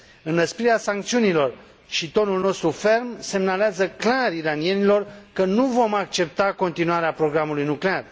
Înăsprirea sancțiunilor și tonul nostru ferm semnalează clar iranienilor că nu vom accepta continuarea programului nuclear.